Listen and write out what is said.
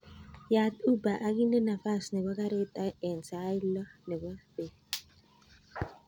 Yat uber akinde nafas nebo karit en sait lo nebo bet